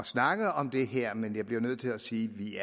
snakke om det her men jeg bliver nødt til at sige at vi